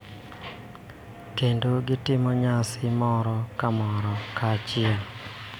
Kendo, gitimo nyasi moro ka moro kanyachiel